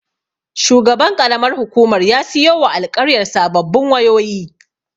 Shugaban ƙaramar hukumar ya siyowa alƙaryar sababbin wayoyi.